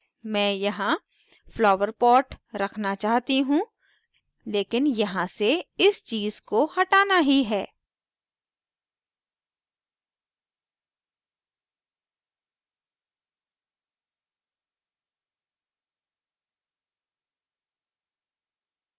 मैं यहाँ flower pot रखना चाहती हूँ लेकिन यहाँ से इस वाली चीज़ को हटाना ही है